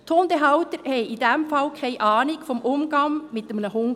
Die Hundehalter hatten in diesem Fall keine Ahnung vom Umgang mit einem Hund.